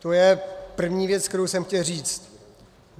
To je první věc, kterou jsem chtěl říct.